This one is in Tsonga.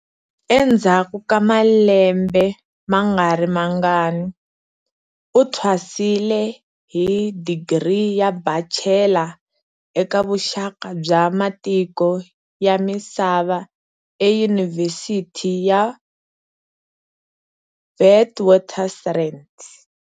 Endzhaku ka malembe ma nga ri mangani, u thwasile hi digri ya bachelor eka vuxaka bya matiko ya misava eYunivhesiti ya Witwatersrand.